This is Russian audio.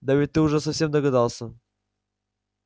да ведь ты сам уже догадался